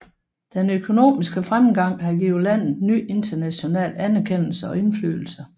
Den økonomiske fremgang har givet landet ny international anerkendelse og indflydelse